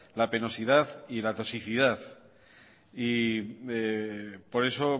la penosidad y la toxicidad por eso